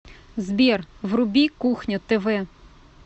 сбер вруби кухня тв